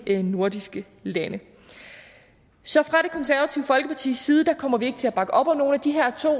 nordiske lande så fra det konservative folkepartis side kommer vi ikke til at bakke op om nogen af de her to